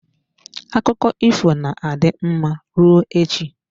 Akụkọ ifo na-adị mma rụọ echi.